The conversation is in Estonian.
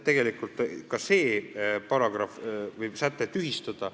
Tegelikult võiks ka selle paragrahvi või sätte tühistada.